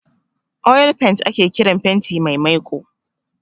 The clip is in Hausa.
'Oil paint'' ake kiran fenti mai maiko